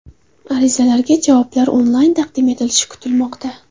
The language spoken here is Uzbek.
Arizalarga javoblar onlayn taqdim etilishi kutilmoqda.